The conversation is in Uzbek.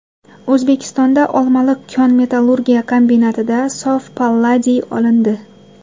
O‘zbekistonda Olmaliq kon-metallurgiya kombinatida sof palladiy olindi.